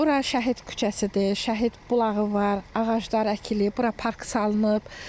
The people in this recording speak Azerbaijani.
Bura Şəhid küçəsidir, Şəhid bulağı var, ağaclar əkilib, bura park salınıb.